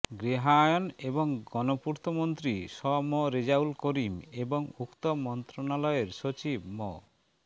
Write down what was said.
গৃহায়ন এবং গণপূর্ত মন্ত্রী শ ম রেজাউল করিম এবং উক্ত মন্ত্রণালয়ের সচিব মো